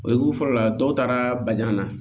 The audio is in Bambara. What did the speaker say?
O ye ku fɔlɔ la dɔw taara baɲaŋa na